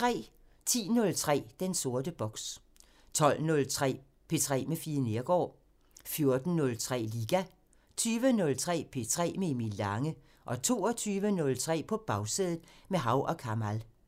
10:03: Den sorte boks 12:03: P3 med Fie Neergaard 14:03: Liga 20:03: P3 med Emil Lange 22:03: På Bagsædet – med Hav & Kamal